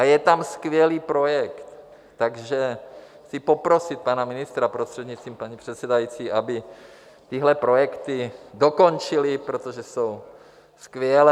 A je tam skvělý projekt, takže chci poprosit pana ministra, prostřednictvím paní předsedající, aby tyhle projekty dokončili, protože jsou skvělé.